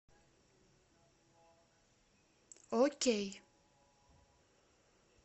окей